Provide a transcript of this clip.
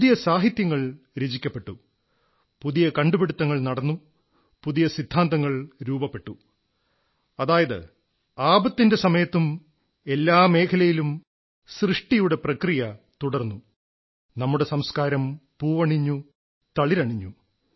പുതിയ സാഹിത്യങ്ങൾ രചിക്കപ്പെട്ടു പുതിയ കണ്ടുപിടുത്തുങ്ങൾ നടന്നു പുതിയ സിദ്ധാന്തങ്ങൾ രൂപപ്പെട്ടു അതായത് ആപത്തിന്റെ സമയത്തും എല്ലാ മേഖലകളിലും സൃഷ്ടിയുടെ പ്രക്രിയ തുടർന്നു നമ്മുടെ സംസ്കാരം പൂവണിഞ്ഞു തളിരണിഞ്ഞു